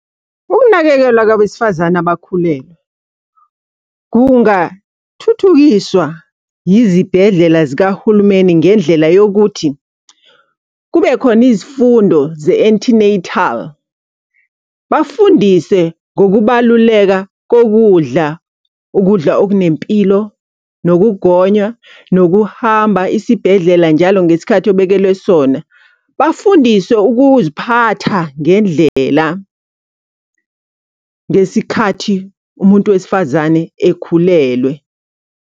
Ukunakekelwa kwabesifazane abakhulelwe. Kungathuthukiswa yizibhedlela zikahulumeni ngendlela yokuthi, kube khona izifundo ze-antenatal. Bafundise ngokubaluleka kokudla, ukudla okunempilo nokugonywa, nokuhamba isibhedlela njalo ngesikhathi obekelwe sona. Bafundiswe ukuziphatha ngendlela, ngesikhathi umuntu wesifazane ekhulelwe.